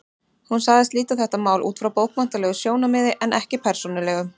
Hún sagðist líta á þetta mál út frá bókmenntalegu sjónarmiði en ekki persónulegu.